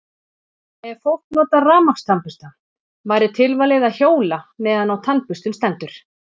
Ef fólk notar rafmagnstannbursta væri tilvalið að hjóla meðan á tannburstun stendur.